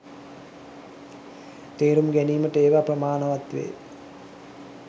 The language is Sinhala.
තේරුම් ගැනීමට ඒවා ප්‍රමාණවත් වේ.